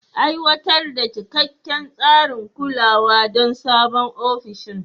Aiwatar da cikakken tsarin kulawa don sabon ofishin.